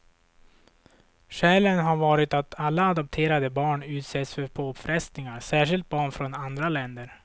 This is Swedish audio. Skälen har varit att alla adopterade barn utsätts för påfrestningar, särskilt barn från andra länder.